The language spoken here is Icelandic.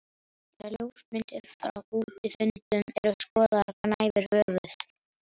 Þegar ljósmyndir frá útifundum eru skoðaðar gnæfir höfuð